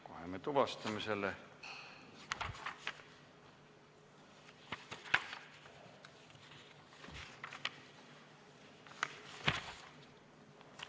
Kohe me tuvastame selle.